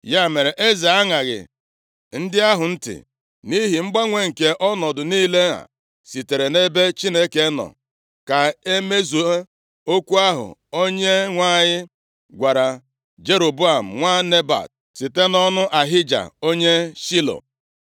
Ya mere, eze aṅaghị ndị ahụ ntị, nʼihi mgbanwe nke ọnọdụ niile a sitere nʼebe Chineke nọ, ka e mezuo okwu ahụ Onyenwe anyị gwara Jeroboam nwa Nebat site nʼọnụ Ahija onye Shilo.